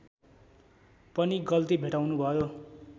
पनि गल्ती भेट्टाउनुभयो